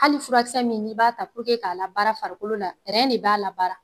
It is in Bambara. Hali furakisɛ min n'i b'a ta k'a labaara farikolo la de b'a labaara.